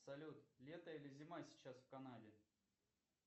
салют лето или зима сейчас в канаде